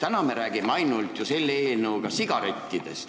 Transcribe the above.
Täna me räägime selle eelnõu puhul vaid sigarettidest.